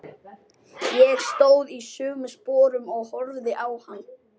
Ég stóð í sömu sporum og horfði á hann.